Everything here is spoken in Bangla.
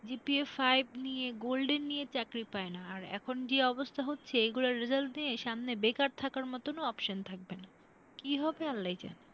CGPAfive নিয়ে golden নিয়ে চাকরি পায়না। আর এখন যে অবস্থা হচ্ছে এগুলার result নিয়ে সামনে বেকার থাকার মতনও option থাকবে না কি হবে আল্লাহই জানে।